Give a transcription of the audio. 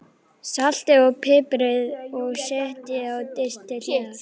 Saltið og piprið og setjið á disk til hliðar.